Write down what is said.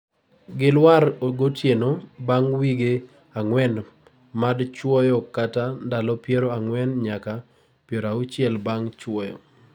gilwar gotieno bang' wige anguen mad chuoyo kata ndalo piero ang'uen nyaka piero auchiel bang' chuoyo